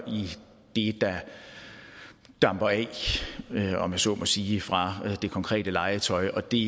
i det der damper af om jeg så må sige fra det konkrete legetøj og det